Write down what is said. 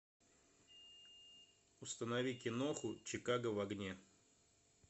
установи киноху чикаго в огне